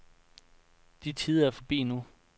De tider er forbi nu.